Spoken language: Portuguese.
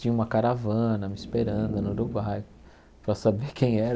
Tinha uma caravana me esperando no Uruguai para saber quem era.